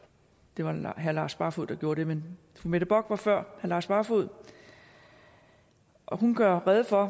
det var herre lars barfoed der gjorde det men fru mette bock var før herre lars barfoed hun gør rede for